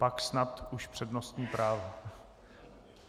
Pak snad už přednostní práva.